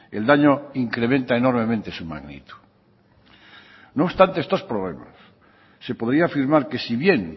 el daño incrementa enormemente su magnitud no obstante estos problemas se podría afirmar que si bien